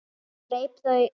Það greip þau æði.